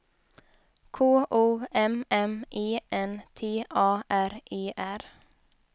K O M M E N T A R E R